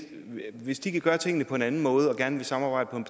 hvis de vil gøre tingene på en anden måde og gerne vil samarbejde på en